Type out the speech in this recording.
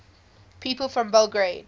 people from belgrade